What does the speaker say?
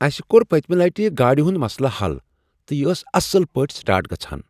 اسہ کوٚر پٔتمِہ لِٹہ گاڑِ ہنٛد مسلہٕ حل تہٕ یہ ٲس اصل پٲٹھۍ سٹارٹ گژھان۔